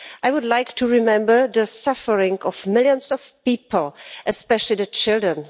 I would like to remember the suffering of millions of people, especially children.